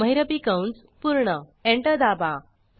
महिरपी कंस पूर्ण एंटर दाबा